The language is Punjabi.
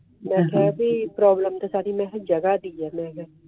ਮੇਂ ਕਹਾ ਪ੍ਤੇਰੋਬ੍ਲੇਮ ਜਗ੍ਹਾ ਦੀ ਹੈ